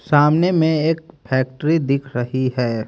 सामने में एक फैक्ट्री दिख रही है।